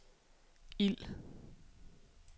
ild